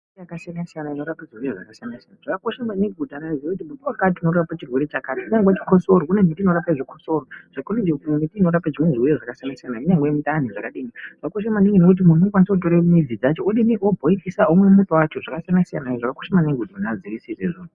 Miti yakasiyana siyana inorape zvirwere zvakasiyana siyana. Zvakakosha maningi kuziye kuti muti wakati unorape chirwere chakati. Kunyangwe chikosoro kune miti inorape chikosoro. Kune miti inorape zvirwere zvakasiyana siyana kunyangwe zvemundani zvakadini. Zvakakosha maningi kuti munhu unokwanise kunotora mudzi dzacho wobhoirisa womwa muto wacho. Zvakakosha maningi kuti munhu aziye zvona izvozvo.